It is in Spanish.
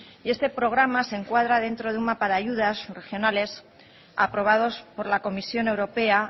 y este programa se encuadra dentro de un mapa de ayudas regionales aprobados por la comisión europea